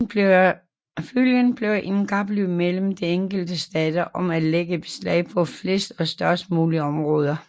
Følgen blev et kapløb mellem de enkelte stater om at lægge beslag på flest og størst mulige områder